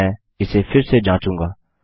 अब मैं इसे फिर से जाँचूँगा